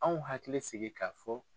An hakili sigi k'a fɔ.